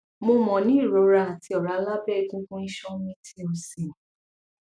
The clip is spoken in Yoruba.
mo mo ni irora ati ọra labẹ egungun iṣan mi ti osi